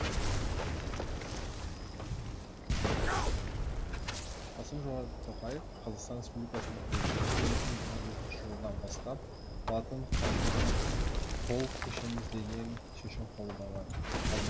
қасым жомарт тоқаев қазақстан республикасының президенті екі мың жиырма бесінші жылдан бастап латын қарпіне толық көшеміз деген шешім қабылдаған